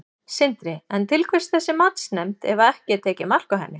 Sindri: En til hvers þessi matsnefnd ef að ekki er tekið mark á henni?